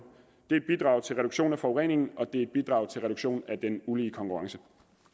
det er et bidrag til reduktion af forureningen og det er et bidrag til reduktion af den ulige konkurrence